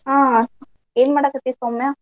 ಹಾ ಏನ್ ಮಾಡಾಕತ್ತಿ ಸೌಮ್ಯಾ?